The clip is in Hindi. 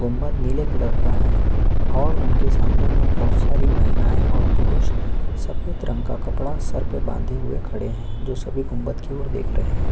गुंबद नीले कलर का है उनके सामने मे बहुत सारी महिलाए और पुरुष सफेद रंग का कपड़ा सर पर बांधे हुए खड़े हैं जो सभी गुंबद की ओर देख रहे हैं।